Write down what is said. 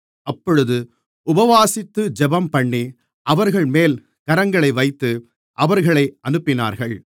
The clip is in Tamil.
அப்பொழுது உபவாசித்து ஜெபம்பண்ணி அவர்கள்மேல் கரங்களை வைத்து அவர்களை அனுப்பினார்கள்